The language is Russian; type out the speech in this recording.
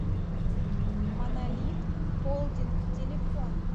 монолитхолдинг телефон